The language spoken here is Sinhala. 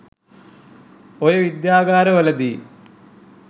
ඔය විද්‍යාගාර වලදි